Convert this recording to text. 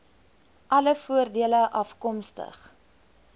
alle voordele afkomstig